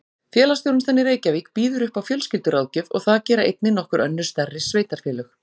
Félagsþjónustan í Reykjavík býður upp á fjölskylduráðgjöf og það gera einnig nokkur önnur stærri sveitarfélög.